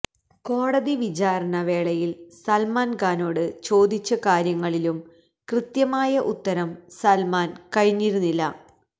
കോടതി വിചാരണ വേളയില് സല്മാന് ഖാനോട് ചോദിച്ച കാര്യങ്ങളിലും കൃത്യമായ ഉത്തരം സല്മാന് കഴിഞ്ഞിരുന്നില്ല